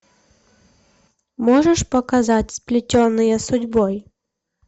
можешь показать сплетенные судьбой